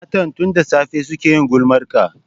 Matan tun da safe suke yin gulmarka